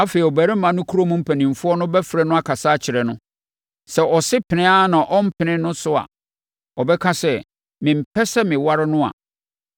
Afei, ɔbarima no kurom mpanimfoɔ bɛfrɛ no akasa akyerɛ no. Sɛ ɔse pene ara na ɔrempene no so a, ɔbɛka sɛ, “Mempɛ sɛ meware no” a,